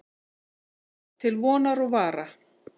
Til vonar og vara.